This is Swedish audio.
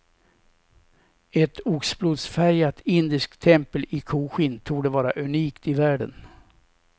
Ett oxblodsfärgat indiskt tempel i koskinn torde vara unikt i världen.